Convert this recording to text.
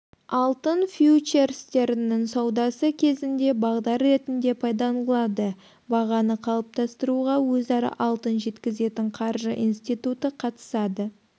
алтын фьючерстерінің саудасы кезінде бағдар ретінде пайдаланылады бағаны қалыптастыруға өзара алтын жеткізетін қаржы институты қатысады